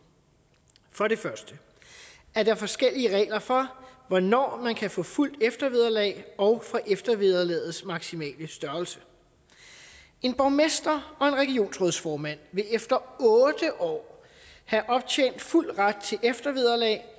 for det første er der forskellige regler for hvornår man kan få fuldt eftervederlag og for eftervederlagets maksimale størrelse en borgmester og en regionsrådsformand vil efter otte år have optjent fuld ret til eftervederlag